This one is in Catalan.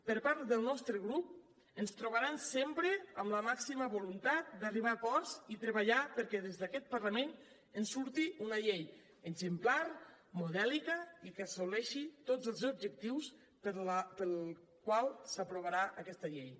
per part del nostre grup ens trobaran sempre amb la màxima voluntat d’arribar a acords i treballar perquè des d’aquest parlament en surti una llei exemplar modèlica i que assoleixi tots els objectius pels quals s’aprovarà aquesta llei